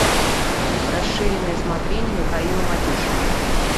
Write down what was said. расширенное смотрение михаила матюшина